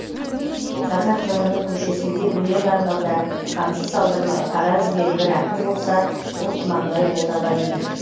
қазақ жырының көшесінде өлең арнауда қамшы салдырмай қара үзген бір ақын болса ол тұманбай молдағалиев